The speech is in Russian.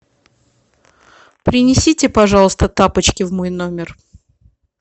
принесите пожалуйста тапочки в мой номер